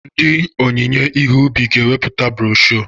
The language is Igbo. Ndị onyinye ihe ubi ga-eweputa broshuọ.